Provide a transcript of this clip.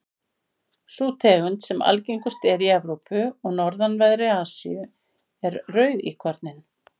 sú tegund sem algengust er í evrópu og norðanverðri asíu er rauðíkorninn